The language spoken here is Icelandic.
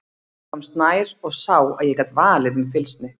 Ég komst nær og sá að ég gat valið um fylgsni.